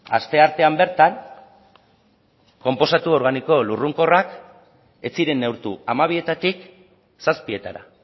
asteartean bertan konposatu organiko lurrunkorrak ez ziren neurtu hamabietatik zazpietara